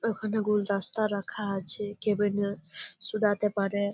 ওখানে গুলদস্তা রাখা আছে। কেবিন -এ সুদাতে পারে ।